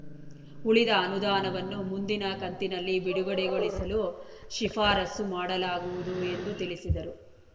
ಉಳಿದ ಅನುದಾನವನ್ನು ಮುಂದಿನ ಕಂತಿನಲ್ಲಿ ಬಿಡುಗಡೆಗೊಳಿಸಲು ಶಿಫಾರಸ್ಸು ಮಾಡಲಾಗುವುದು ಎಂದು ತಿಳಿಸಿದರು